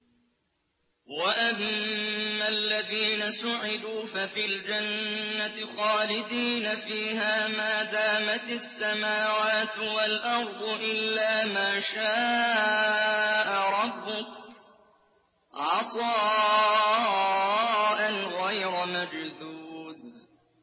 ۞ وَأَمَّا الَّذِينَ سُعِدُوا فَفِي الْجَنَّةِ خَالِدِينَ فِيهَا مَا دَامَتِ السَّمَاوَاتُ وَالْأَرْضُ إِلَّا مَا شَاءَ رَبُّكَ ۖ عَطَاءً غَيْرَ مَجْذُوذٍ